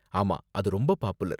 ஆமா, அது ரொம்ப பாப்புலர்.